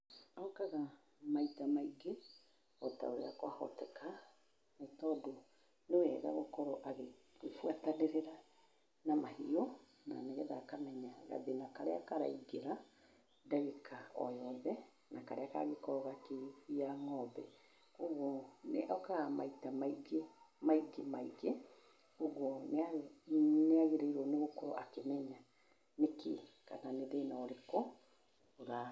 Okaga maita maingĩ o ta ũrĩa kwahoteka, nĩ tondũ nĩ wega gũkorwo agĩbuatanĩrĩra na mahiũ. Nĩ getha akamenya gathĩna karĩa karaingĩra, ndagĩka o yothe, na karĩa kangĩkorwo gakĩgia ng'ombe. Koguo nĩ okaga maita maingĩ, maingĩ maingĩ, ũguo nĩ agĩrĩirwo nĩ gũkorwo akĩmenya nĩkĩĩ kana nĩ thĩna ũrĩkũ ũra..